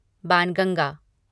Ban Ganga